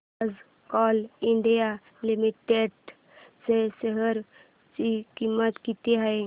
आज Coal India Limited च्या share ची किंमत किती आहे